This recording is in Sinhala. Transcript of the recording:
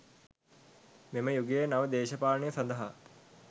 මෙම යුගයේ නව දේශපාලනය සඳහා